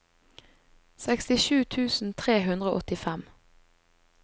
sekstisju tusen tre hundre og åttifem